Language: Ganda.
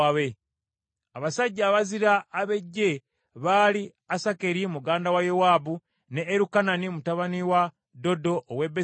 Abasajja abazira ab’eggye baali: Asakeri muganda wa Yowaabu, ne Erukanani mutabani wa Dodo ow’e Besirekemu,